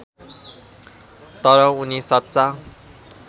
तर उनी सच्चा